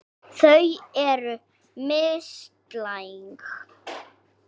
Þau eru mislæg.